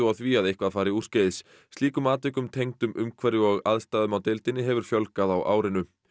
á því að eitthvað fari úrskeiðis slíkum atvikum tengdum umhverfi og aðstæðum á deildinni hefur fjölgað á árinu